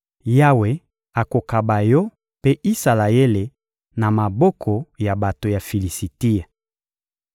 Yawe akokaba yo mpe Isalaele na maboko ya bato ya Filisitia.